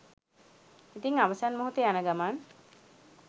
ඉතිං අවසන් මොහොතේ යන ගමන්